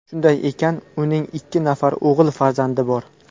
Shuningdek, uning ikki nafar o‘g‘il farzandi bor.